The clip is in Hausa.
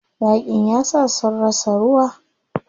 Yaƙin yasa sun rasa ruwa.